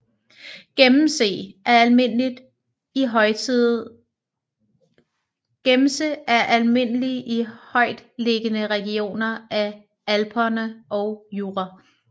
Gemse er almindelig i højtliggende regioner af Alperne og Jura